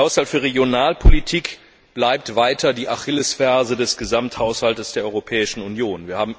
Der Haushalt für Regionalpolitik bleibt weiter die Achillesferse des Gesamthaushalts der Europäischen Union.